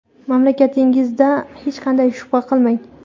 Mamlakatingizda hech qanday shubha qilmang.